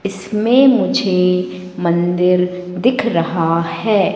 इसमें मुझे मंदिर दिख रहा है।